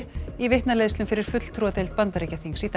í vitnaleiðslum fyrir fulltrúadeild Bandaríkjaþings í dag